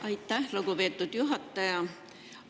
Aitäh, lugupeetud juhataja!